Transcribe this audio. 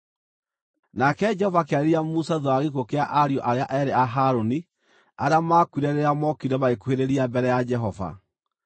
Nake Jehova akĩarĩria Musa thuutha wa gĩkuũ kĩa ariũ arĩa eerĩ a Harũni arĩa maakuire rĩrĩa mookire magĩkuhĩrĩria mbere ya Jehova.